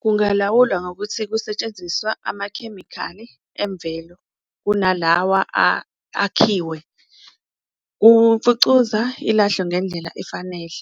Kungalawulwa ngokuthi kusetshenziswa amakhemikhali emvelo kunalawa akhiwe umfucuza ilahlwe ngendlela efanele,